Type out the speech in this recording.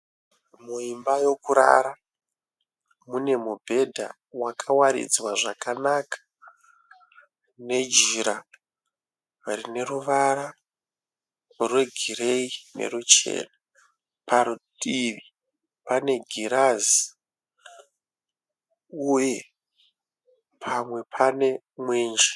Muimba yekurara. Mune mubhedha wakawaridzwa zvakanaka nejira rine ruvara rwegireyi neruchena. Parutivi pane girazi uye pamwe pane mwenje.